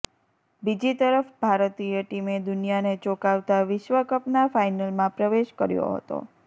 બીજી તરફ ભારતીય ટીમે દુનિયાને ચોંકાવતા વિશ્વકપના ફાઇનલમાં પ્રવેશ કર્યો હતો